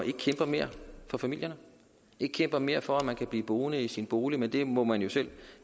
ikke kæmper mere for familierne ikke kæmper mere for at man kan blive boende i sin bolig men det må man jo selv